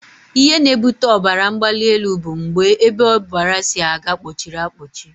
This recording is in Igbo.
Ihe na-ebute ọbaramgbalịelu bụ mgbe ebe ọbara si aga kpọchiri akpọchi